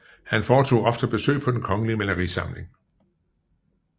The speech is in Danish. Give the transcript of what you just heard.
Han foretog ofte besøg på Den Kongelige Malerisamling